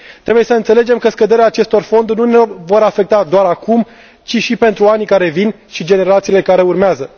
Trebuie să înțelegem că scăderea acestor fonduri nu ne va afecta doar acum, ci și pentru anii care vin și generațiile care urmează.